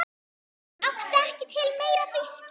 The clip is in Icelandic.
Áttu ekki til meira viskí?